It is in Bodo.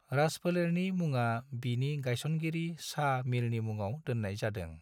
राजफोलेरनि मुंआ बिनि गायसनगिरि शाह मीरनि मुङाव दोननाय जादों।